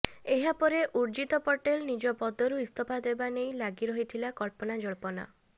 ଏହାପରେ ଉର୍ଜିତ ପଟେଲ ନିଜ ପଦରୁ ଇସ୍ତଫା ଦେବା ନେଇ ଲାଗି ରହିଥିଲା କଳ୍ପନାଜଳ୍ପନା